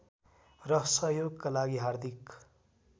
र सहयोगका लागि हार्दिक